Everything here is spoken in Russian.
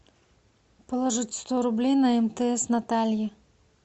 положить сто рублей на мтс наталье